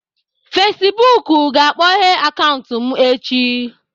Facibụkụ ga-akpọghee akaụntụ m echi